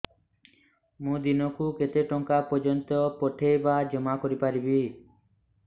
ମୁ ଦିନକୁ କେତେ ଟଙ୍କା ପର୍ଯ୍ୟନ୍ତ ପଠେଇ ବା ଜମା କରି ପାରିବି